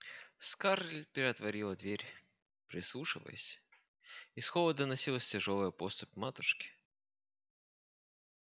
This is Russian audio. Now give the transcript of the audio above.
скарлетт приотворила дверь прислушалась из холла доносилась тяжёлая поступь матушки